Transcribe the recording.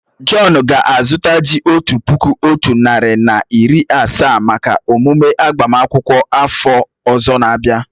John ga á zuta ji otu puku otu nari na iri asaa maka emume agbama akwukwo áfọ ozor na abia